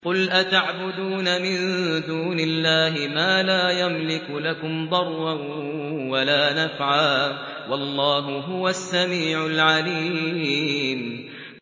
قُلْ أَتَعْبُدُونَ مِن دُونِ اللَّهِ مَا لَا يَمْلِكُ لَكُمْ ضَرًّا وَلَا نَفْعًا ۚ وَاللَّهُ هُوَ السَّمِيعُ الْعَلِيمُ